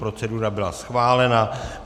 Procedura byla schválena.